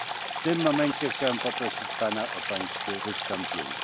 W tym momencie chciałem poprosić pana o wystąpienie.